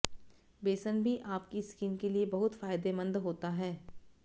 बेसन भी आपकी स्किन के लिए बहुत फायदेमंद होता है